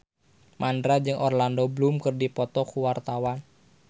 Mandra jeung Orlando Bloom keur dipoto ku wartawan